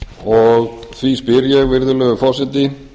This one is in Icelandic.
og því spyr ég virðulegur forseti